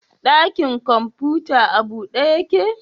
Dakin kwamfuta a bude ya ke?